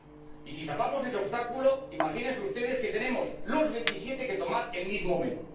Y si salvamos ese obstáculo, imagínense ustedes que tenemos los veintisiete que tomar el mismo menú.